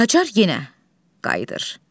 Qacar yenə qayıdır.